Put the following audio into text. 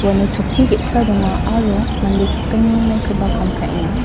uano chokki ge·sa donga aro mande sakgni maikoba kam ka·enga.